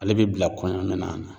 Ale bɛ bila kɔɲɔminɛn yan nɔ.